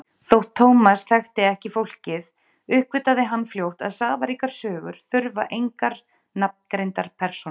Þótt Thomas þekkti ekki fólkið uppgötvaði hann fljótt að safaríkar sögur þurfa engar nafngreindar persónur.